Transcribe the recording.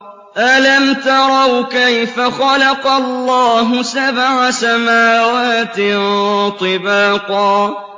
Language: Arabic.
أَلَمْ تَرَوْا كَيْفَ خَلَقَ اللَّهُ سَبْعَ سَمَاوَاتٍ طِبَاقًا